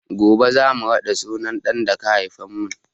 Gobe za mu raɗa sunan ɗa da ka haifa mun